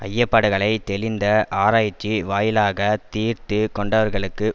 ஐயப்பாடுகளைத் தெளிந்த ஆராய்ச்சி வாயிலாகத் தீர்த்து கொண்டவர்களுக்குப்